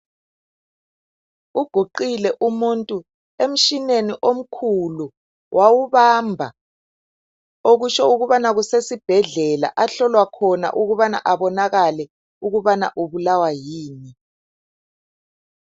Uguqile umuntu emshineni omkhulu wawubamba, okutsho ukubana kusesibhedlela ahlolwa khona ukubana abonanakale ukubana ubulawa yini.